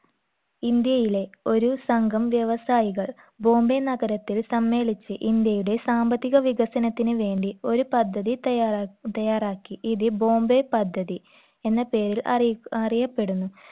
ഇന്ത്യയിലെ ഒരു സംഘം വ്യവസായികൾ ബോംബെ നഗരത്തിൽ സമ്മേളിച്ച് ഇന്ത്യയുടെ സാമ്പത്തിക വികസനത്തിന് വേണ്ടി ഒരു പദ്ധതി തയാറാ തയാറാക്കി ഇത് ബോംബെ പദ്ധതി എന്ന പേരിൽ അറിയ അറിയപ്പെടുന്നു